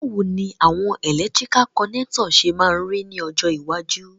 Bàwoni àwon electrical connector se ma ri ni ọjọ́ iwájú?